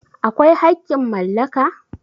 akwai haƙƙin mallaka?